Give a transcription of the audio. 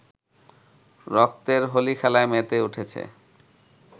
রক্তের হোলি খেলায় মেতে উঠেছে